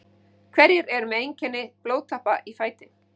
Hver eru einkenni blóðtappa í fæti?